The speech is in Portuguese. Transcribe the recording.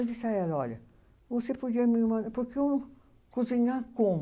Eu disse à ela, olha, você podia me mandar. Porque eu, cozinhar como?